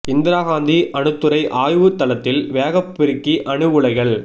இந்திரா காந்தி அணுத்துறை ஆய்வுத் தளத்தில் வேகப் பெருக்கி அணு உலைகள்